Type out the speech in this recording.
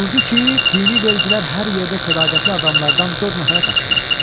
Buyurdu ki, dini vergilər hər yerdə sədaqətli adamlardan dörd nəfərə tapşırılsın.